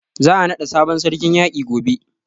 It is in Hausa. Za a naɗa sabon sarkin yaƙi gobe.